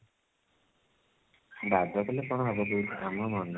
ବାଦ କଲେ କଣ ହବ କହିଲୁ ଆମ ମନ